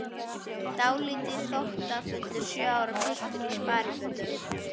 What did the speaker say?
Dálítið þóttafullur sjö ára piltur í sparifötum.